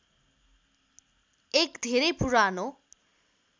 एक धेरै पुरानो